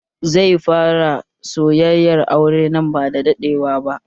Zai fara sayayyan aure nan ba da daɗewa ba